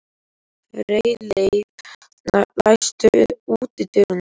Freyleif, læstu útidyrunum.